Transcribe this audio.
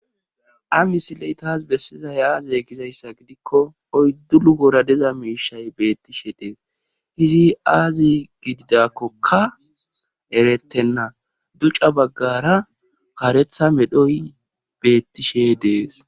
ha misiley taas bessizay aaze gizayssa gidikko oyddu luhora diza miishay beettishe des izi aaze gididakkokka eretenna duca baggaara karetha medhoy beettishe de7es.